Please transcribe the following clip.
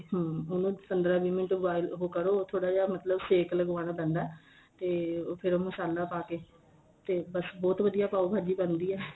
ਹਾਂ ਹੋਰ ਪੰਦਰਾ ਵੀਹ ਮਿੰਟ ਤੋਂ ਬਾਅਦ ਉਹ ਕਰੋ ਥੋੜਾ ਜਾ ਮਤਲਬ ਸੇਕ ਲੱਗਵਾਣਾ ਪੈਂਦਾ ਤੇ ਫੇਰ ਉਹ ਮਸਾਲਾ ਪਾ ਕੇ ਤੇ ਫੇਰ ਬਹਤੁ ਵਧੀਆ ਪਾਉ ਭਾਜੀ ਬਣਦੀ ਏ